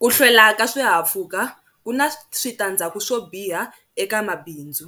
Ku hlwela ka swihahampfhuka ku na switandzhaku swo biha eka mabindzu.